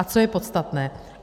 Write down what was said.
A to je podstatné.